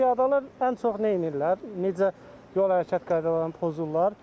Qardaş, piyadalar ən çox nə edirlər, necə yol hərəkət qaydalarını pozurlar?